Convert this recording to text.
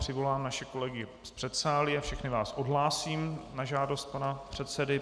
Přivolám naše kolegy z předsálí a všechny vás odhlásím na žádost pana předsedy.